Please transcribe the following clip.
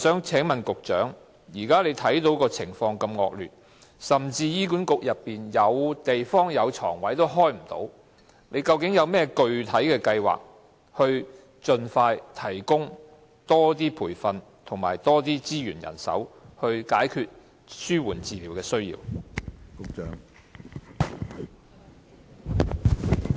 請問局長，鑒於現時的情況如此惡劣，而雖然醫管局轄下醫院有地方，但卻沒有擺放病床，究竟當局有何具體計劃盡快提供更多培訓、資源和人手，以解決對紓緩治療服務的需求？